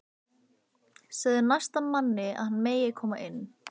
Segðu næsta manni að hann megi koma inn